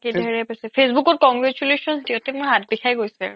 ধেৰে বেছিকে facebook ত congratulations দিওতে মোৰ হাত বিষাই গৈছে